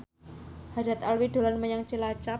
Haddad Alwi dolan menyang Cilacap